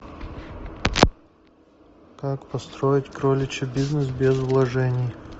как построить кроличий бизнес без вложений